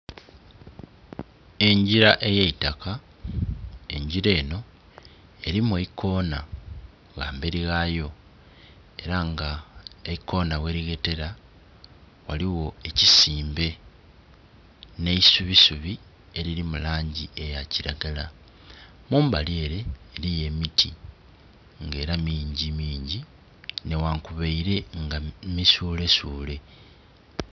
Engira eya itaka, engira enho erimu eikona ghamberi ghayo era nga eikona gherighetera, ghaligho ekisimbe n'eisubisubi eriri mu langi eya kiragala. Kumbali ere ghaliyo emiti nga era mingimingi nighankubaile nga misuulesuule.